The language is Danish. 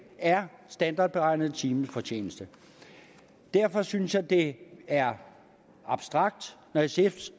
er standardberegnet timefortjeneste derfor synes jeg det er abstrakt når sf